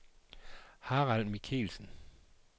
Harald Michelsen